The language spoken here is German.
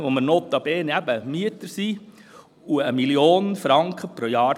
Den haben wir gemietet, und wir bezahlen wie gesagt 1 Mio. Franken pro Jahr.